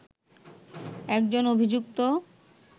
একজন অভিযুক্ত